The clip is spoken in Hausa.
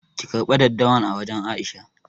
ki karbe daddawan a wajan Aisha.